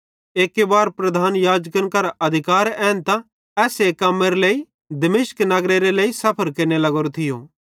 एक्की बार प्रधान याजकन करां अधिकार एन्तां एस्से कम्मेरे लेइ दमिश्क नगरेरे सफ़र केरने लग्गोरो थियो